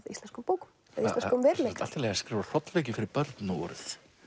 íslenskum bókum eða íslenskum veruleika sem sagt allt í lagi að skrifa hrollvekjur fyrir börn nú orðið